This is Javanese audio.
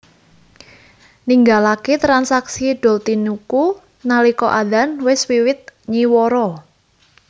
Ninggalake transaksi doltinuku nalika adzan wis wiwit nywara